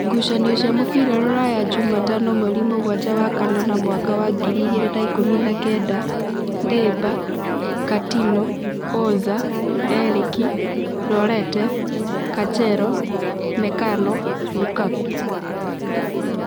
Ngucanio cia mũbira Ruraya Jumatano mweri mũgwanja wa kanana mwaka wa ngiri igĩrĩ na ikũmi na kenda: Ndĩmba, Katino, Oza, Erĩki, Rorete, Kachero, Mekano, Rukaku